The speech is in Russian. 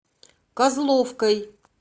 козловкой